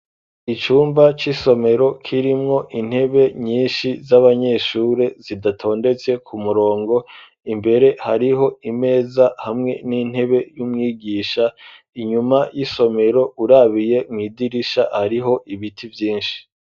icumba c'isomero, kirimwo intebe nyinshi, z'abanyeshuri, zidatondetse ku murongo; imbere hariho imeza, hamwe n'intebe, y'umwigisha; inyuma y'isomero, urabiye mw'idirisha, hariho ibiti vyinshi.